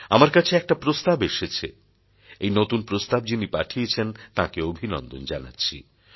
আমার কাছে একটা প্রস্তাব এসেছে এই নতুন প্রস্তাব যিনি পাঠিয়েছেন তাঁকে অভিনন্দন জানাচ্ছি